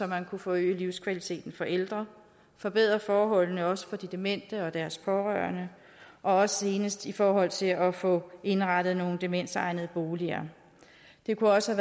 man kunne forøge livskvaliteten for ældre forbedre forholdene også for de demente og deres pårørende og også senest i forhold til at få indrettet nogle demensegnede boliger det kunne også